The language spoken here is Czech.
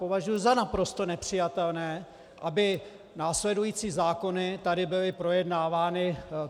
Považuju za naprosto nepřijatelné, aby následující zákony tady byly projednávány.